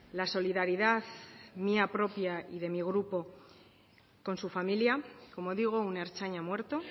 la solidaridad mía propia y de mi grupo con su familia como digo un ertzaina muerto